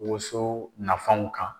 Woso nafanw kan.